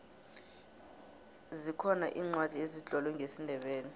zikhona iincwadi ezitlolwe ngesindebele